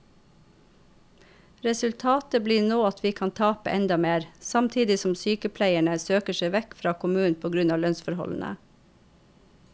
Resultatet blir nå at vi kan tape enda mer, samtidig som sykepleierne søker seg vekk fra kommunen på grunn av lønnsforholdene.